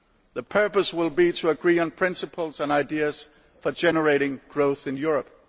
The purpose will be to agree on principles and ideas for generating growth in Europe.